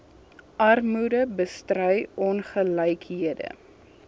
armoede bestry ongelykhede